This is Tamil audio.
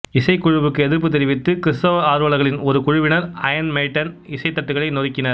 இசைக்குழுவுக்கு எதிர்ப்பு தெரிவித்து கிறிஸ்தவ ஆர்வலர்களின் ஒரு குழுவினர் அயர்ன் மெய்டன் இசைத்தட்டுகளை நொறுக்கினர்